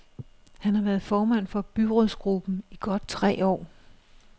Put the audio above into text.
Han har været formand for byrådsgruppen i godt tre år.